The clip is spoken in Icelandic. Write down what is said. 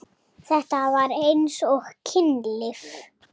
Þetta var eins og kynlíf.